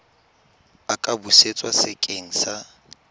a ka busetswa sekeng sa